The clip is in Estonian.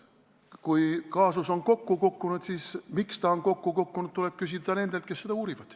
Kui kaasus on kokku kukkunud, siis seda, miks ta on kokku kukkunud, tuleb küsida nendelt, kes seda uurivad.